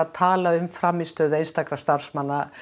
tala um frammistöðu einstakra starfsmanna